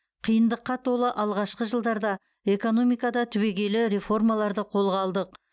қиындыққа толы алғашқы жылдарда экономикада түбегейлі реформаларды қолға алдық